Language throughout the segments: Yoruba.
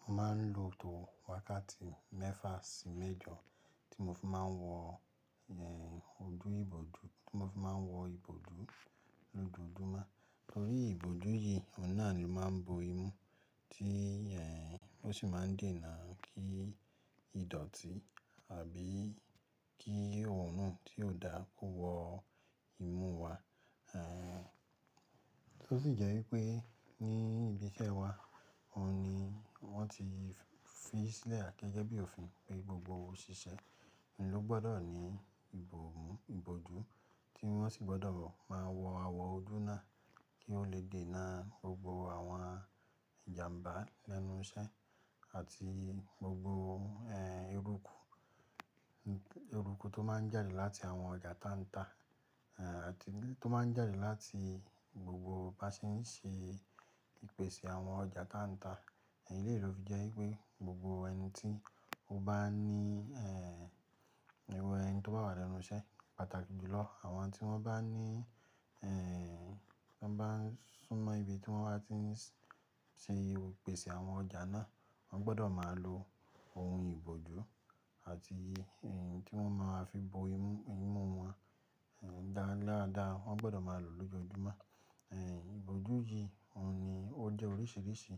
Mo máa ń lo tò wákàtí mẹ́fà sí mẹ́jọ tí mo fi máa ń wọ, ẹ, ojú ìbòdù, tí mo fi máa ń wọ ìbòdù lójoojúmọ́. Torí ìbòdù yìí, òun náà ni ó máa ń bo imú tí, ẹ, ó sì máa ń dènà kí ìdọ̀tí àbí kí òòrùn tí ó dára kó wọ imú wa. Ehn, tó sì jẹ́ wípé ní ibi iṣẹ́ wa, òun ni wọ́n ti fi sílẹ̀ gẹ́gẹ́ bí òfin pé gbogbo òṣìṣẹ́ nló gbọ́dọ̀ ní ìbòmú ìbòdù tí wọ́n sì gbọ́dọ̀ máa wọ àwọ̀ ojú náà kí ó lè dènà gbogbo àwọn ìjàmbá lẹ́nu iṣẹ́ àti gbogbo, ẹ, eruku, eruku tó máa ń jáde láti àwọn ọjà táńtà, ẹ, àti tó máa ń jáde láti gbogbo bá ṣe ń ṣe ìpèsè àwọn ọjà táńtà. Èyí lè ro ví jẹ́ wípé gbogbo ẹni tí ó bá ní, ẹ, irú ẹni tí ó bá wà lẹ́nu iṣẹ́ pàtàkì jùlọ àwọn tí wọ́n bá ní, ẹ, tí wọ́n bá ń súnmọ́ ibi tí wọ́n bá ti ń ṣe ìpèsè àwọn ọjà náà, wọ́n gbọ́dọ̀ máa lo ohun ìbòdù àti ẹyin tí wọ́n máa fi bo imú wọn dá láadáa, wọ́n gbọ́dọ̀ máa lò lójoojúmọ́. Ẹ, ìbòdù yìí òun ni ó jẹ́ oríṣiríṣi.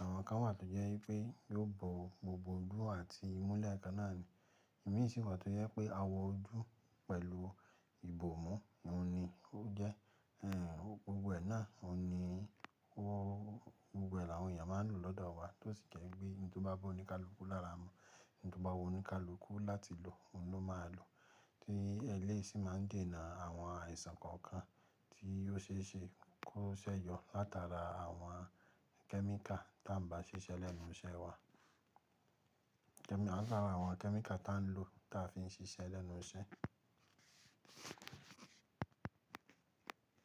Àwọn kan wà tó jẹ́ wípé yóò bo gbogbo ojú àti imú lẹ́ẹ̀kan náà ni. Ẹ̀mí isì wà tó jẹ́ pé àwọ̀ ojú pẹ̀lú ìbòmú òun ni ó jẹ́. Ehn, gbogbo ẹ náà òun ni ó, gbogbo ẹ̀ àwọn èèyàn máa ń lò lọ́dọ̀ wa tó sì jẹ́ wípé ẹni tí ó bá wù oníkálukú lára wa, ẹni tí ó bá wù oníkálukú láti lò, òun ló máa lò. Tí ẹlẹ́ṣìn máa ń dènà àwọn àìsàn kọ̀ọ̀kan tí yóò ṣe é ṣe kó ṣẹ́yọ látara àwọn kẹ́míkà tá ń bá ṣiṣẹ́ lẹ́nu iṣẹ́ wa. Láàárín àwọn kẹ́míkà tá ń lò táa fi ń ṣiṣẹ́ lẹ́nu iṣẹ́.